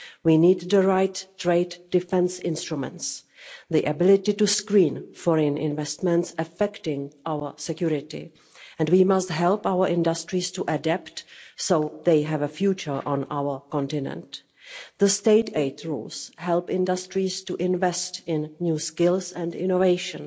We need the right trade defence instruments, the ability to screen foreign investments affecting our security, and we must help our industries to adapt so they have a future on our continent. The state aid rules help industries to invest in new skills and innovation.